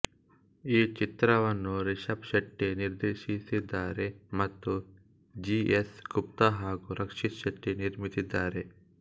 ಈ ಚಿತ್ರವನ್ನು ರಿಶಬ್ ಶೆಟ್ಟಿ ನಿರ್ದೇಶಿಸಿದ್ದಾರೆ ಮತ್ತು ಜಿ ಎಸ್ ಗುಪ್ತಾ ಹಾಗೂ ರಕ್ಷಿತ್ ಶೆಟ್ಟಿ ನಿರ್ಮಿಸಿದ್ದಾರೆ